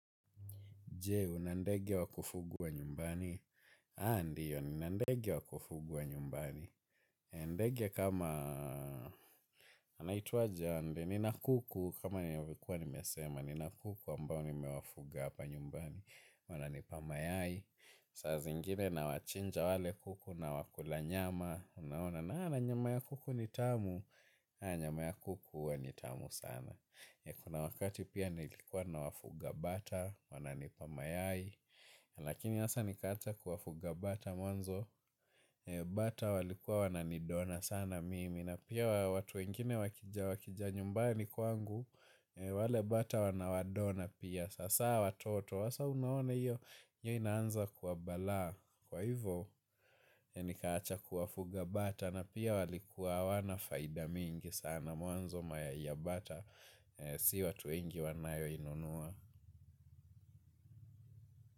Jee, una ndege wakufugua nyumbani? Haa, ndiyo, nina ndege wakufugua nyumbani. Endege kama, anaitwa je ande, nina kuku, kama ninavyokuwa nimesema, nina kuku ambao ni mewafuga apa nyumbani. Wana nipamayai, saa zingine na wachinja wale kuku na wakulanyama, unaona, naa na nyama ya kuku nitamu, nyama ya kuku huwanitamu sana. Kuna wakati pia nilikuwa nawafuga mbata wananipa mayai lakini hasa nikaacha kuwafuga mbata mwanzo. Bata walikuwa wananidona sana mimi. Na pia watu wengine wakija wakija nyumbani kwangu. Wale bata wanawadona pia. Sasa watoto hasa unaona iyo. Iyo inaanza kuwabalaa. Kwa hivyo nikaacha kuwafuga bata. Na pia walikuwa hawanafaida mingi sana mwanzo ma ya iabata siwa tu wengi wanayo inunuwa.